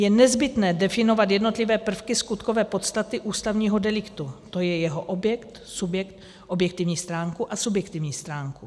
Je nezbytné definovat jednotlivé prvky skutkové podstaty ústavního deliktu, tj. je jeho objekt, subjekt, objektivní stránku a subjektivní stránku.